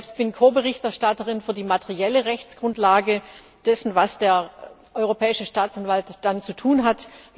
Ich selbst bin Ko Berichterstatterin für die materielle Rechtsgrundlage dessen, was der Europäische Staatsanwalt dann zu tun hat.